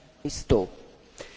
Kedves Kollégák!